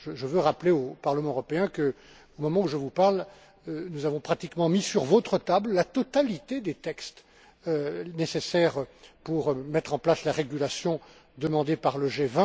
Je veux rappeler au Parlement européen qu'au moment où je vous parle nous avons pratiquement mis sur votre table la totalité des textes nécessaires pour mettre en place la régulation demandée par le G